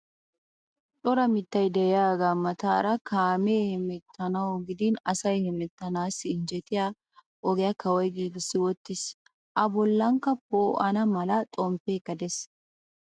Cora mittay de'iyagaa mataara kaamee hemettanawu gidin asay hemettanaassi injjetiya ogiya kawoy giigissi wottiis. A bollankka poo'ana mala. xomppeekka de'ees.